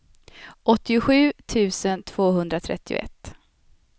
åttiosju tusen tvåhundratrettioett